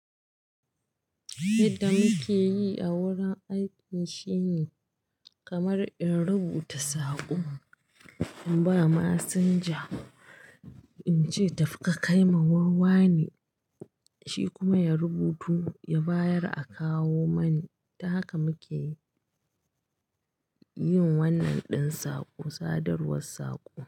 Yadda muke yi a wurin aiki shine kamar in rubuta saƙo, in ba masinja in ce tafi ka kai ma wurin wane, shi kuma ya rubutu ya bayar a kawo mani. Ta haka muke yin wannan ɗin saƙo, sadarwar saƙo.